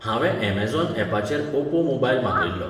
हांवें अमेझॉन ऍपाचेर Oppo mobile मागयल्लो